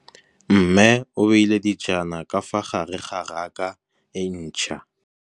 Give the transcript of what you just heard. Mmê o beile dijana ka fa gare ga raka e ntšha.